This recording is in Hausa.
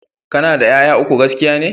Ka na da 'ya'ya uku, gaskiya ne?